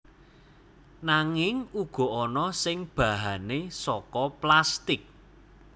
Nanging uga ana sing bahane saka plastik